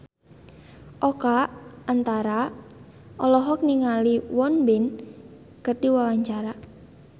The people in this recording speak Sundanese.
Oka Antara olohok ningali Won Bin keur diwawancara